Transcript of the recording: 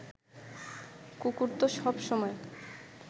কুকুর তো সব সময়